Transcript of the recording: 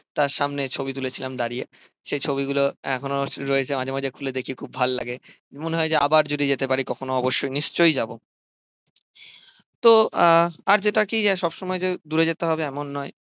তার সামনে ছবি তুলেছিলাম দাঁড়িয়ে। সেই ছবিগুলো এখনও রয়েছে মাঝে মাঝে খুলে দেখি খুব ভালো লাগে। মনে হয় যে আবার যদি যেতে পারি কখনো অবশ্যই নিশ্চয়ই যাবো। তো আহ আর যেটা কি সবসময় যে দূরেই যেতে হবে এমন নয়।